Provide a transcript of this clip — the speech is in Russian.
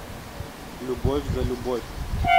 любовь за любовь